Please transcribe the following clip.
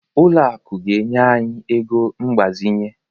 Ụlọ akụ ga-enye anyị ego mgbazinye